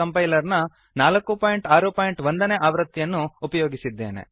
compiler ನ 461 ನೇ ಆವೃತ್ತಿಯನ್ನು ಅನ್ನು ಉಪಯೋಗಿಸಿದ್ದೇನೆ